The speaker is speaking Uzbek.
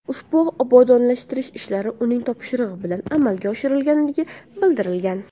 Ushbu obodonlashtirish ishlari uning topshirig‘i bilan amalga oshirilganligini bildirgan.